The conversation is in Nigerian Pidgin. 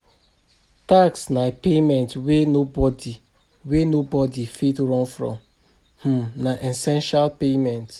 Tax na payment wey nobody wey nobody fit run from, um na essential payment